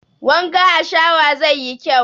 Wanka a shawa zai yi kyau